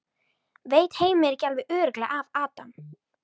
Veit Heimir ekki alveg örugglega af Adam?